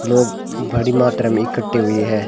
लोग बड़ी मात्रा में इकट्ठे हुए है।